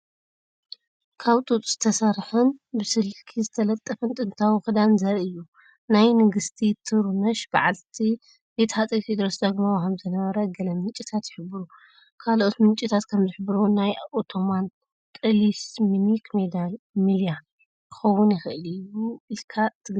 ካብ ጡጥ ዝተሰርሐን ብስልክ ዝተጠልፈን ጥንታዊ ክዳን ዘርኢ እዩ። ናይ ንግስቲ ትሩነሽ በዓልቲ ቤት ሃጸይ ቴዎድሮስ ዳግማዊ ከም ዝነበረ ገለ ምንጭታት ይሕብሩ። ካልኦት ምንጭታት ከም ዝሕብርዎ፡ ናይ ኦቶማን ጣሊስማኒክ ማልያ ክኸውን ይኽእል እዩ ኢልካ ትግምት?